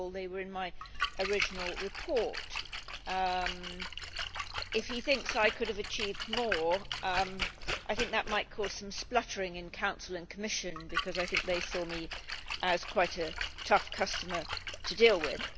After all they were in my original report. If he thinks I could have achieved more, that might cause some spluttering in the Council and Commission because I think they saw me as quite a tough customer to deal with.